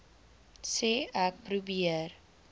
sê ek probeer